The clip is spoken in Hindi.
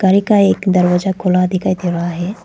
एकाएक दरवाजा खुला दिखाई दे रहा है।